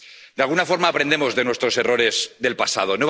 De alguna forma, aprendemos de nuestros errores del pasado.